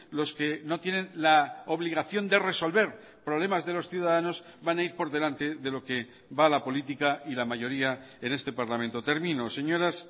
los que no tienen la obligación de resolver problemas de los ciudadanos van a ir por delante de lo que va la política y la mayoría en este parlamento termino señoras